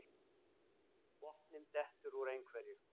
Botninn dettur úr einhverju